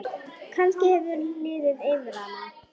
Kannski hefur liðið yfir hana?